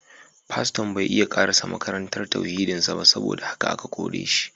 Faston bai iya karasa makarantar tauhidin sa ba saboda haka aka kore shi